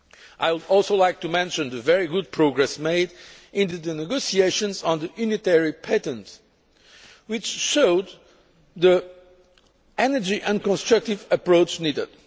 I would also like to mention the very good progress made in the negotiations on the unitary patent, which showed the energy and constructive approach needed.